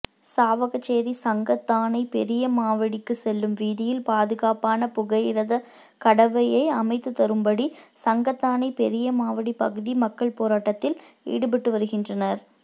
சாவகச்சேரி சங்கத்தானை பெரியமாவடிக்கு செல்லும் வீதியில் பாதுகாப்பான புகையிரத கடவையை அமைத்துதரும்படி சங்கத்தானை பெரியமாவடி பகுதி மக்கள் போராட்டத்தில் ஈடுபட்டுவருகின்றனர்